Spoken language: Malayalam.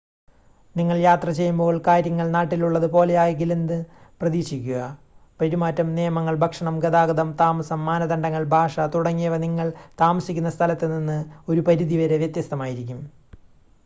"നിങ്ങൾ യാത്ര ചെയ്യുമ്പോൾ കാര്യങ്ങൾ "നാട്ടിൽ ഉള്ളത്" പോലെയാകിലെന്ന് പ്രതീക്ഷിക്കുക. പെരുമാറ്റം നിയമങ്ങൾ ഭക്ഷണം ഗതാഗതം താമസം മാനദണ്ഡങ്ങൾ ഭാഷ തുടങ്ങിയവ നിങ്ങൾ താമസിക്കുന്ന സ്ഥലത്ത് നിന്ന് ഒരു പരിധി വരെ വ്യത്യസ്തമായിരിക്കും.